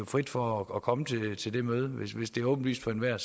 frit for at komme til til det møde men hvis det er åbenlyst for enhver